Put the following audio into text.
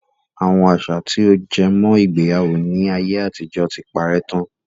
Àwọn àṣà tí ó jẹ mọ́ ìgbéyàwó ni ayé àtijọ́ tí parè tán.